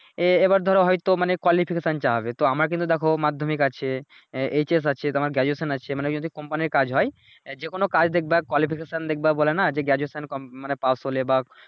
এই এইবার ধরো হয়তো মানে Qualification science চাওয়া হবে তো আমার কিন্তু দেখো মাধ্যমিক আছে আহ এইচ এস আছে তোমার Graduation আছে মানে যদি কোম্পানির কাজ হয় যেকোন কাজ দেখবা Qualification দেখবা বলেনা যে Graduation কম মানে পাস হলে বা